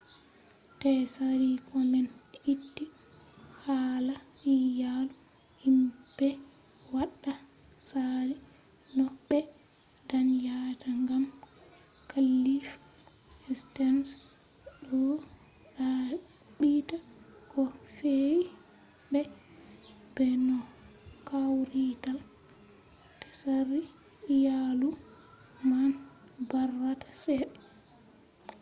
tsari komen itti hala iyalu himɓe waɗa tsari no ɓe danyata gam klif sterns ɗo ɗaɓɓita ko fe’i be no kawrital tsari iyalu man barata cede